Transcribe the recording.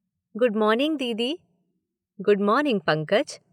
Good morning, दीदी। Good morning Pankaj.